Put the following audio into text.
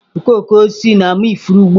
Okooko osisi na-ama ifuru ugbu a.